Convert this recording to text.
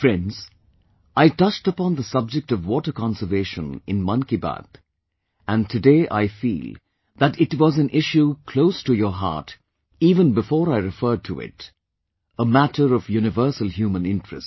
Friends, I touched upon the subject of water conservation in Mann Ki Baat and today I feel that it was an issue close to your heart even before I referred to it, a matter of universal human interest